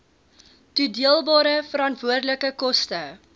toedeelbare veranderlike koste